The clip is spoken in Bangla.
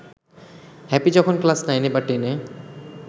হ্যাপি যখন ক্লাস নাইনে বা টেন-এ